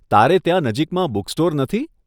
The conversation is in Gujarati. તારે ત્યાં નજીકમાં બૂક્સટોર નથી?